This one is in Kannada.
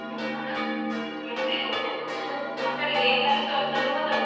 ಹಾ ಮತ್ತೆ ಮಕ್ಕಳಿಗೆ ಕಲಿಸುವಂಥದ್ದು ಮೊದಲು.